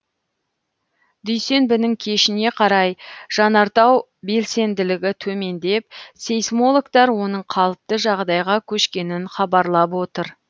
дүйсенбінің кешіне қарай жанартау белсенділігі төмендеп сейсмологтар оның қалыпты жағдайға көшкенін хабарлап отыр